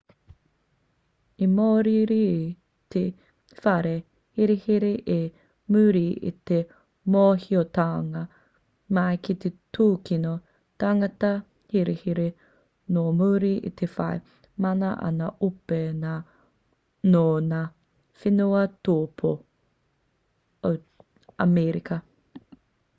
i mōiriiri te whare herehere i muri i te mōhiotanga mai ki te tūkino tangata herehere nō muri i te whai mana a ngā ope nō ngā whenua tōpū o amerika